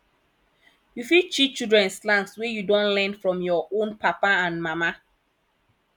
you fit teach children slangs wey you don learn from your own papa and mama